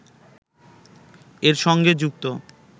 এর সঙ্গে যুক্ত